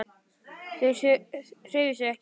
Þau hreyfðu sig ekki.